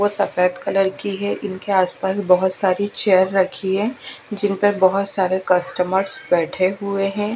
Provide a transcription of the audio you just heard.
वो सफेद कलर की है इनके आसपास बहुत सारी चेयर रखी है जिनपर बहोत सारे कस्टमर्स बैठे हुए हैं।